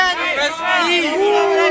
Rusiyalılar, Rusiya!